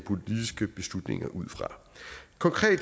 politiske beslutninger ud fra